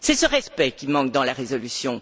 C'est ce respect qui manque dans la résolution.